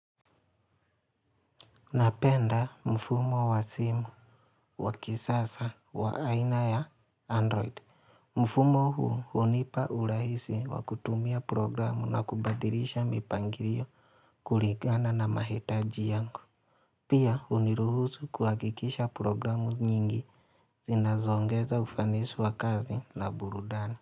Unapenda mfumo wa simu wa kisasa wa aina ya Android. Mfumo huu hunipa urahisi wa kutumia programu na kubadilisha mipangilio kuligana na mahitaji yangu. Pia huniruhusu kuhakikisha programu nyingi. Zinazoongeza ufanisi wa kazi na burudani.